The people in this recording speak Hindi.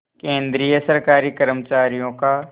केंद्रीय सरकारी कर्मचारियों का